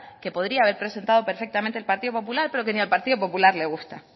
que podría haber presentado perfectamente el partido popular pero que ni al partido popular le gusta